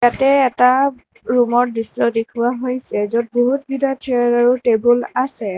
তে এটা ৰুমৰ দৃশ্য দেখুওৱা হৈছে য'ত বহুত কেইটা চেয়াৰ আৰু টেবুল আছে।